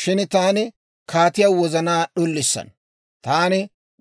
Shin taani kaatiyaa wozanaa d'ulissana; taani